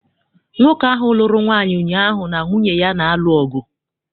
Nwoke ahụ lụrụ nwaanyị ụnyaahụ na nwunye ya na-alụ ọgụ.